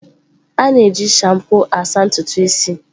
A na-eji shampoo na-asa ntutu isi.